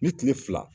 Ni kile fila